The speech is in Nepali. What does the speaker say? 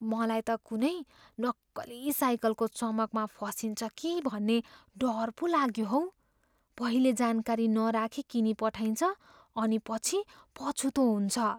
मलाई त कुनै नक्कली साइकलको चमकमा फसिन्छ कि भन्ने डर पो लाग्यो हौ। पहिले जानकारी नराखी किनिपठाइन्छ अनि पछि पछुतो हुन्छ।